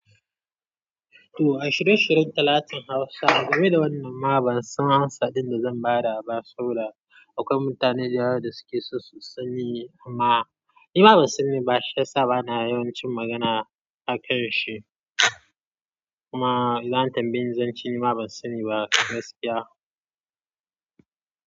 To a shirye-shiryen talatan Hausa. Game da wannan ma ban san amsa ɗin da zan ba da ba, saboda akwai mutane da yawa da suke so su sani, amma ni ma ban sani ba. Shi yasa bana yawancin magana a karshe. Kuma idan an tambaye ni, zan ce ni ma ban sani ba gaskiya.